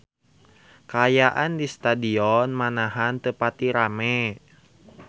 Kaayaan di Stadion Manahan teu pati rame